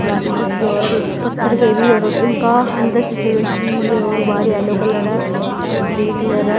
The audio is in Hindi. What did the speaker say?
प्लास्टिक के और पत्थर के भी और उनका अंदर से सीमेंट की और बाहर येलो कलर है और ग्रीन कलर है।